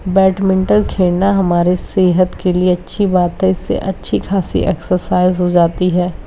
Badminton खेलना हमारे सेहत के लिए अच्छी बात है इससे अच्छी खासी एक्सरसाइज हो जाती है।